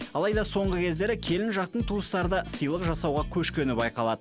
алайда соңғы кездері келін жақтың тустары да сыйлық жасауға көшкені байқалады